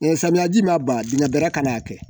samiyaji ma ban dingɛ bɛra ka n'a kɛ